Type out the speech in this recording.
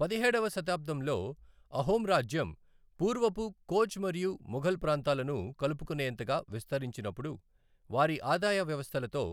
పదిహేడవ శతాబ్దంలో అహోం రాజ్యం పూర్వపు కోచ్ మరియు మొఘల్ ప్రాంతాలను కలుపుకునేంతగా విస్తరించినప్పుడు, వారి ఆదాయ వ్యవస్థలతో